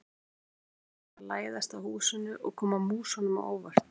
Leika sér að því að læðast að húsinu og koma músunum á óvart.